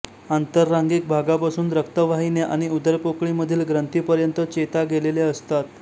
आंतरांगिक भागापासून रक्तवाहिन्या आणि उदरपोकळीमधील ग्रंथी पर्यंत चेता गेलेल्या असतात